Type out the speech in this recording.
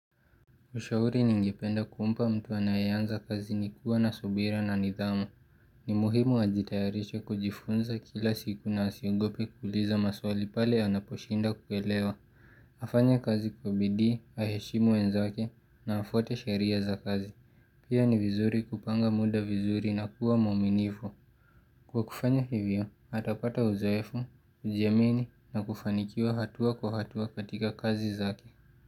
Ushauri ningependa kumpa mtu anaye anza kazi ni kuwa na subira na nidhamu. Ni muhimu ajitayarishe kujifunza kila siku na asiogope kuuliza maswali pale anaposhindwa kuelewa. Afanye kazi kwa bidii, aheshimu wenzake na afuate sheria za kazi. Pia ni vizuri kupanga muda vizuri na kuwa mwaminifu. Kwa kufanyo hivyo, atapata uzoefu, kujiamini na kufanikiwa hatua kwa hatua katika kazi zake.